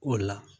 O la